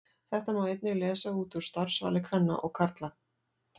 Þetta má einnig lesa út úr starfsvali kvenna og karla.